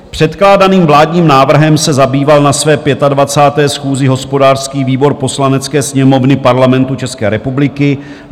Předkládaným vládním návrhem se zabýval na své 25. schůzi hospodářský výbor Poslanecké sněmovny Parlamentu České republiky.